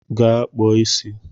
Ga kpụọ isi!